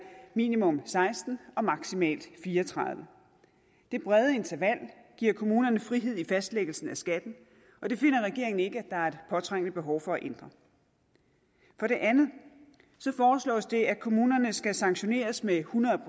minimum seksten og maksimalt fire og tredive det brede interval giver kommunerne frihed i fastlæggelsen af skatten og det finder regeringen ikke der er et påtrængende behov for at ændre for det andet foreslås det at kommunerne skal sanktioneres med hundrede